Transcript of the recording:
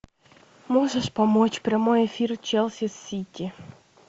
можешь помочь прямой эфир челси сити